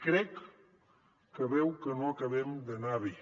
crec que veu que no acabem d’anar bé